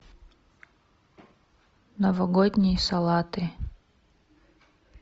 новогодние салаты